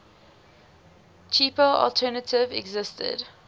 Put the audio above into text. cheaper alternative existed